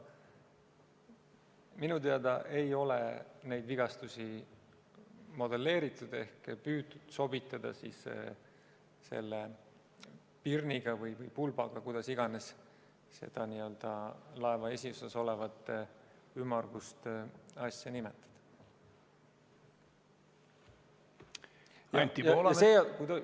Minu teada ei ole neid vigastusi modelleeritud ehk püütud sobitada selle pirniga või pulbaga, kuidas iganes seda laeva esiosas olevat ümmargust asja nimetada.